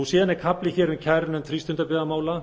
síðan er kafli hér um kærunefnd frístundabyggðamála